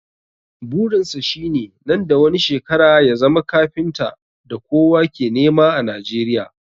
Burin sa shi ne nan da wani shekara ya zama kafintan da kowa ke nema a Nijeriya